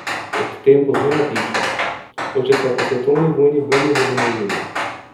O tem pozneje piše: "Oče se je po svetovni vojni vrnil v domovino.